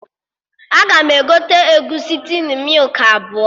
Aga m egote egusi tin mịkị abụọ